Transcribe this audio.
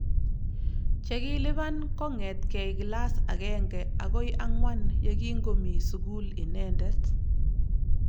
Chekilipan kongetkei kilas agenge agoi angwan yekingomi sukul inendet